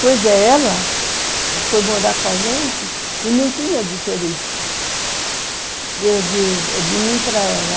Pois é, ela foi morar com a gente e não tinha diferença de mim para ela.